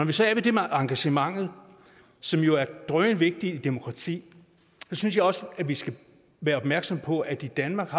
vi så er ved det med engagementet som jo er drønvigtigt i et demokrati synes jeg også vi skal være opmærksomme på at danmark